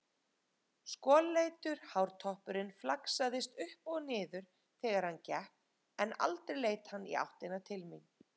Skolleitur hártoppurinn flaksaðist upp og niður þegar hann gekk en aldrei leit hann í áttina til mín.